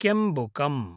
केम्बुकम्